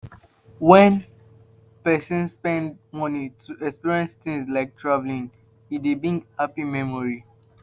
When person spend money to experience things like travelling, e dey bring happy memory